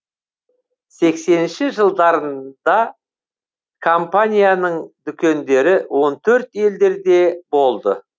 сексенінші жылдарында компанияның дүкендері он төрт елдерде болды